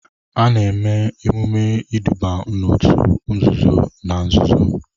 A na-eme emume iduba n'òtù nzuzo na nzuzo.